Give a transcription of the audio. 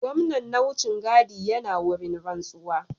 Gwamnan na wucin gadi yana wurin rantsuwa